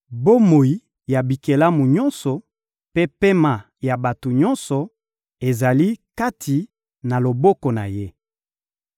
Bomoi ya bikelamu nyonso mpe pema ya bato nyonso ezali kati na loboko na Ye.